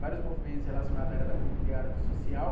vários movimentos relacionados à área da cultura e à área do social.